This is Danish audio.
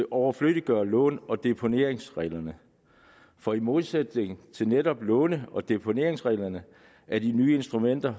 overfløddiggør låne og deponeringsreglerne for i modsætning til netop låne og deponeringsreglerne er de nye instrumenter